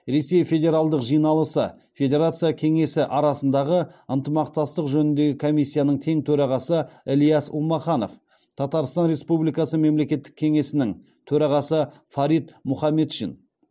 ресей федералдық жиналысы федерация кеңесі арасындағы ынтымақтастық жөніндегі комиссияның тең төрағасы ильяс улмаханов татарстан республикасы мемлекеттік кеңесінің төрағасы фарид мұхаметшин